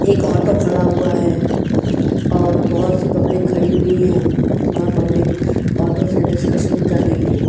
एक ऑटो खड़ा हुआ है और बहुत सी पब्लिक खड़ी हुई हैं वह पब्लिक ऑटो से डिस्कशन कर रही हैं।